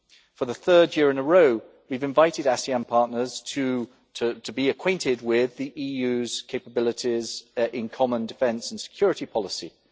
For the third year in a row, we have invited ASEAN partners to be acquainted with the EU's capabilities in common defence and security policies.